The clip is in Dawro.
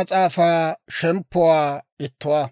Iitatuwaa